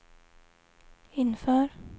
inför